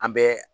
An bɛ